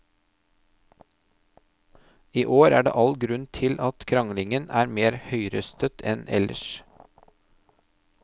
I år er det all grunn til at kranglingen er mer høyrøstet enn ellers.